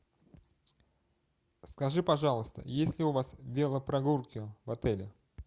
скажи пожалуйста есть ли у вас велопрогулки в отеле